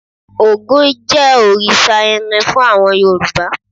Ògún jẹ́ òrìṣà irin fún àwọn Yorùbá.